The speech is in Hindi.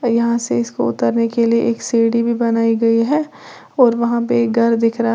यहां से इसको उतरने के लिए एक सीढ़ी भी बनाई गई है और वहां पे घर दिख रहा--